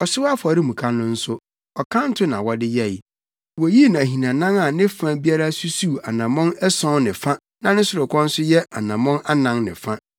Ɔhyew afɔremuka no nso, ɔkanto na wɔde yɛe. Woyii no ahinanan a ne fa biara susuw anammɔn ason ne fa na ne sorokɔ nso yɛ anammɔn anan ne fa.